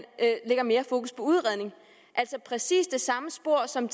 lægger mere fokus på udredning altså præcis det samme spor som